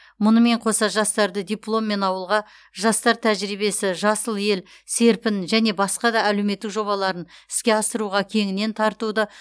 мұнымен қоса жастарды дипломмен ауылға жастар тәжірибесі жасыл ел серпін және басқа да әлеуметтік жобаларын іске асыруға кеңінен тартуды